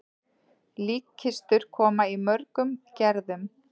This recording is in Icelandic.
Líkkistur koma í mörgum gerðum.